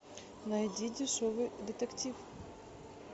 найди дешевый детектив